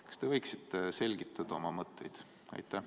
Kas te võiksite selgitada oma mõtteid?